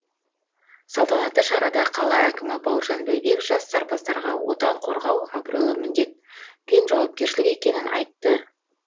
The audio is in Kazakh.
салтанатты шарада қала әкімі бауыржан бәйбек жас сарбаздарға отан қорғау абыройлы міндет пен жауапкершілік екенін айтты